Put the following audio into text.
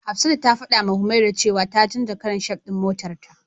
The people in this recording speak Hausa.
Hafsatu ta fadawa Humaira cewa ta canja karan shaf din motarta.